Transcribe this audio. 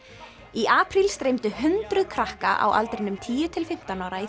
í apríl streymdu hundruð krakka á aldrinum tíu til fimmtán ára í